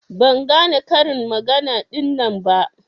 Ban gane karin magana ɗinnan ba.